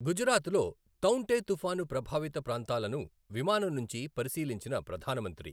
గుజరాత్లో తౌఁటే తుపాను ప్రభావిత ప్రాంతాలను విమానం నుంచి పరిశీలించిన ప్రధాన మంత్రి